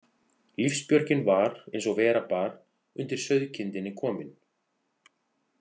Lífsbjörgin var, eins og vera bar, undir sauðkindinni kominn.